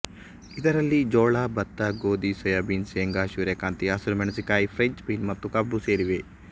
ಇದರಲ್ಲಿ ಜೋಳ ಬತ್ತ ಗೋದಿ ಸೋಯಬೀನ್ ಸೇಂಗ ಸೂರ್ಯಕಾಂತಿ ಹಸುರು ಮೆಣಸಿನಕಾಯಿ ಫ್ರೆಂಚ್ ಬೀನ್ ಮತ್ತು ಕಬ್ಬು ಸೇರಿವೆ